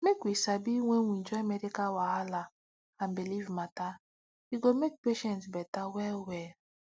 make we sabi when we join medical wahala and belief matter e go make patient better well well